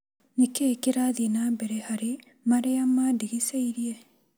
Nĩkĩĩ kĩrathi na mbere harĩ marĩa mandigicĩirie?